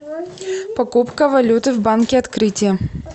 покупка валюты в банке открытие